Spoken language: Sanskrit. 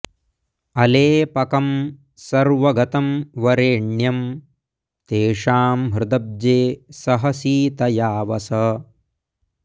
अलेपकं सर्वगतं वरेण्यं तेषां हृदब्जे सह सीतया वस